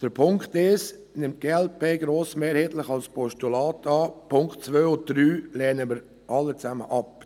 Den Punkt 1 nimmt die glp grossmehrheitlich als Postulat an, die Punkte 2 und 3 lehnen wir alle zusammen ab.